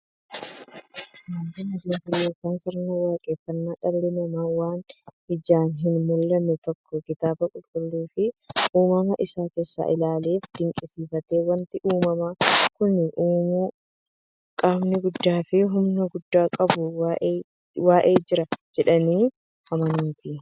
Amantiin adeemsa yookiin sirna waaqeffannaa dhalli namaa waan ijaan hinmullanne tokko kitaaba qulqulluufi uumama isaa isaa ilaaleefi dinqisiifatee, wanti uumama kana uumu qaamni guddaafi humna guddaa qabu wa'ii jira jedhanii amanuuti.